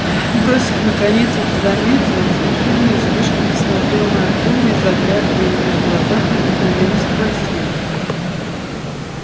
бросив наконец это занятие он с ехидной усмешкой посмотрел на артёма и заглядывая ему в глаза проникновенно спросил